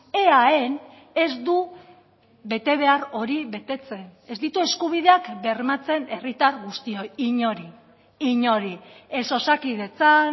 eaen ez du betebehar hori betetzen ez ditu eskubideak bermatzen herritar guztioi inori inori ez osakidetzan